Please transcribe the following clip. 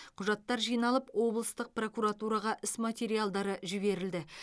құжаттар жиналып облыстық прокуратураға іс материалдары жіберілді